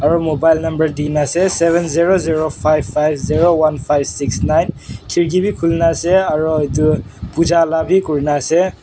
aro mobile number tina ase seven zero zero five five zero one five six nine kirki bi kulina ase aro etu Pooja labi kurina ase.